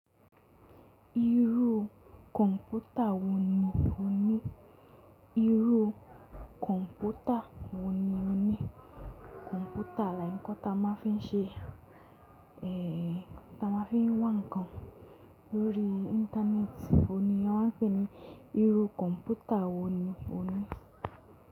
Irú kọ̀ǹpútà wo ni o ní? Irú kọ̀ǹpútà wo ni o ní? Kọ̀ǹpútà làí k nkan ta máa ń fi ṣe, ta máa ń fi wá ǹkan lórí Íńtánẹ́ẹ̀tì, òní a máa ń pè ní irú kọ̀ǹpútà wo ni o ní.